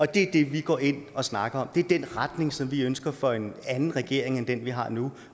det er det vi går ind og snakker om det er den retning som vi ønsker for en anden regering end den vi har nu